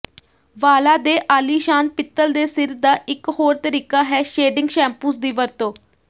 ਵਾਲਾਂ ਦੇ ਆਲੀਸ਼ਾਨ ਪਿੱਤਲ ਦੇ ਸਿਰ ਦਾ ਇੱਕ ਹੋਰ ਤਰੀਕਾ ਹੈ ਸ਼ੇਡਿੰਗ ਸ਼ੈਂਪੂਸ ਦੀ ਵਰਤੋਂ